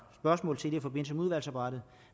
spørgsmål til det i forbindelse med udvalgsarbejdet